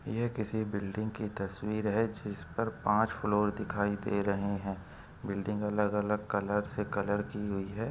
ये किसी बिल्डिंग की तस्वीर है जिस पर पांच फ्लोर दिखाई दे रहे है बिल्डिंग अलग - अलग कलर से कलर की हुई है।